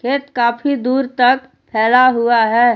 ये काफी दूर तक फैला हुआ है।